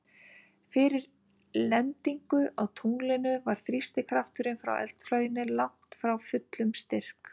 Fyrir lendingu á tunglinu var þrýstikrafturinn frá eldflauginni langt frá fullum styrk.